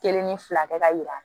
Kelen ni fila kɛ ka yira